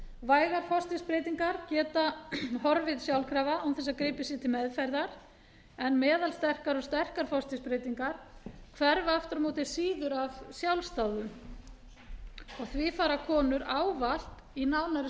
vægar forstigsbreytingar geta horfið sjálfkrafa án þess að gripið sé til meðferðar en meðalsterkar og sterkar forstigsbreytingar hverfa aftur á móti síður af sjálfsdáðum og því fara konur ávallt í nánari